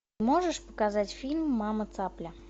можешь показать фильм мама цапля